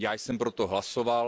Já jsem pro to hlasoval.